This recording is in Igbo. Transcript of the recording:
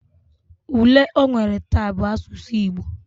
Ule onwere ta bu asusu Igbo